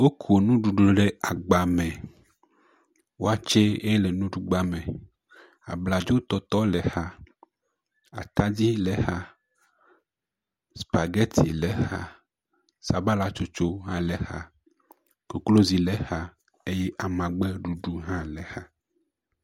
Woko nuɖuɖu ɖe agba me. Waakye ye le nuɖugba me. Abladzo tɔtɔ le exa, atadi le exa, spageti le exa, sabalatsostso hã le exa, kloklozi le exa eya amagbeɖuɖu hã le exa.